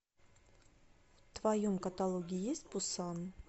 в твоем каталоге есть пусан